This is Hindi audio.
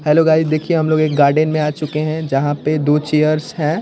हलो गाइस देखिये हम लोग एक गार्डेन में आ चुके है जहाँ पे दो चेयर्स है।